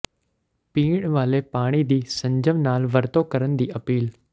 ਪੀਣ ਵਾਲੇ ਪਾਣੀ ਦੀ ਸੰਜਮ ਨਾਲ ਵਰਤੋਂ ਕਰਨ ਦੀ ਅਪੀਲ